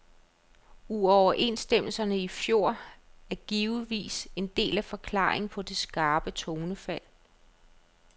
Uoverenstemmelserne i fjor er givetvis en del af forklaringen på det skarpe tonefald.